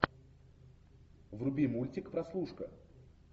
вруби мультик прослушка